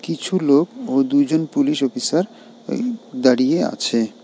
কিছু লোক ও দুইজন পুলিশ অফিসার ওই দাঁড়িয়ে আছে।